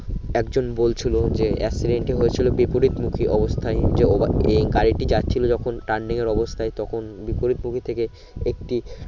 একজন বলছিলো যে accident টি হয়েছিলো বিপরীত মুখি অবস্থায়ী যে অভা গাড়িটি যখন turening এর অবস্থায় তখন বিপরীত মুভি থেকে একটি